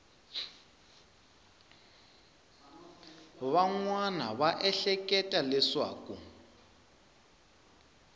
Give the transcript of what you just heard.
van wana va ehleketa leswaku